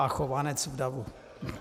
A Chovanec v davu.